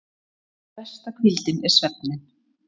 En besta hvíldin er svefninn.